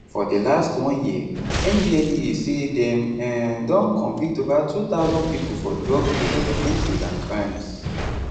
for di last one year ndlea say dem um don convict ova 2000 pipo for drug related offences and crimes